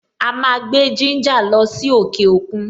A máa gbé gínjà lọ sí òkè òkun.